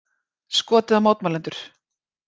Skotið á mótmælendur